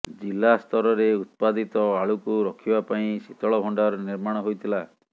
ଜିଲ୍ଳା ସ୍ତରରେ ଉତ୍ପାଦିତ ଆଳୁକୁ ରଖିବା ପାଇଁ ଶୀତଳ ଭଣ୍ଡାର ନିର୍ମାଣ ହୋଇଥିଲା